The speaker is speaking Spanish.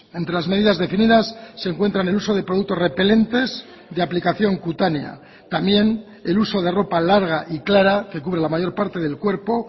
entre las medidas definidas se encuentran el uso de productos repelentes de aplicación cutánea también el uso de ropa larga y clara que cubre la mayor parte del cuerpo